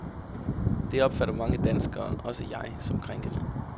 Det opfatter mange danskere, også jeg, som krænkende.